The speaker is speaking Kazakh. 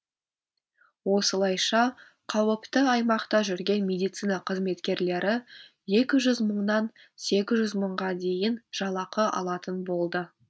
осылайша қауіпті аймақта жүрген медицина қызметкерлері екі жүз мыңнан сегіз жүз мыңға дейін жалақы алатын болды